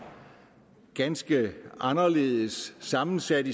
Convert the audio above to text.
ganske anderledes sammensat